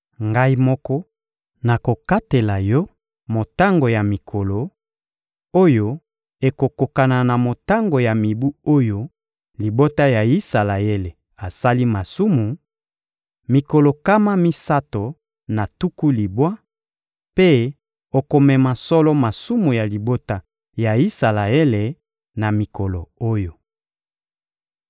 Ngai moko nakokatela yo motango ya mikolo, oyo ekokokana na motango ya mibu oyo libota ya Isalaele asali masumu: mikolo nkama misato na tuku libwa; mpe okomema solo masumu ya libota ya Isalaele na mikolo oyo.